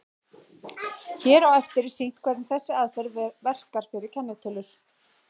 Hér á eftir er sýnt hvernig þessi aðferð verkar fyrir kennitölur.